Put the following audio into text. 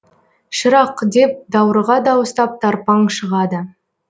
шырақ деп даурыға дауыстап тарпаң шығады